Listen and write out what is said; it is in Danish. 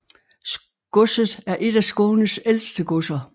Godset er et af Skånes ældste godser